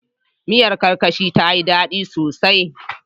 Miyar Karkashin ta yi dadi sosai.